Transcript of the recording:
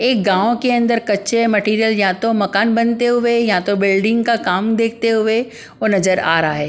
एक गाँव के अंदर कच्चे मटेरियल या तो मकान बनते हुए या तो बिल्डिंग का काम देखते हुए वो नजर आ रहा है ।